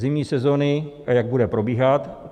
Zimní sezóny a jak bude probíhat.